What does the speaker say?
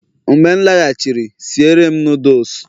mgbe m laghachiri, si ere'm nudulus